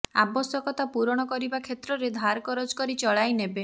ଆବଶ୍ୟକତା ପୂରଣ କରିବା କ୍ଷେତ୍ରରେ ଧାର କରଜ କରି ଚଳାଇ ନେବେ